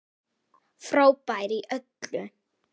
Frábær í öllu!